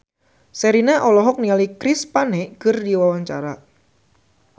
Sherina olohok ningali Chris Pane keur diwawancara